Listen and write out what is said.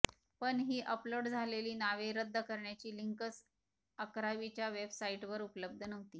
पण ही अपलोड झालेली नावे रद्द करण्याची लिंकच अकरावीच्या वेबसाइटवर उपलब्ध नव्हती